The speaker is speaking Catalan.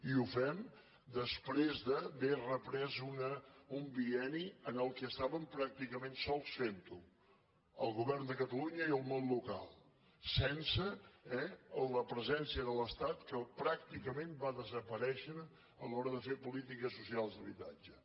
i ho fem després d’haver reprès un bienni en què està·vem pràcticament sols fent·ho el govern de catalunya i el món local sense la presència de l’estat que pràcti·cament va desaparèixer a l’hora de fer polítiques socials d’habitatge